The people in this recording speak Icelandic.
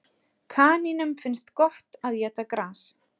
Kanínum finnst gott að éta gras.